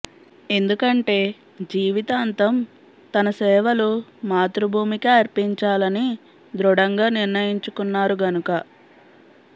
ఎందుకంటే జీవితాంతం తన సేవలు మాతృభూమికే అర్పించాలని దృఢంగా నిర్ణయించుకున్నారు గనక